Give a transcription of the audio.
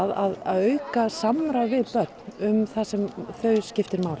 að auka samráð við börn um það sem þau skiptir máli